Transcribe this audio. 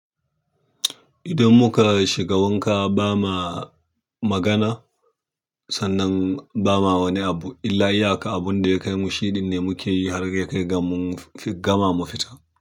Idan muka shiga wanka ba ma magana sannan ba ma wani abu illa iya ka abun da ya kai mu shi ɗin ne muke yi har ya kai ga mun fi gama mu fito.